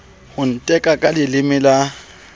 ho ntheka ka leleme le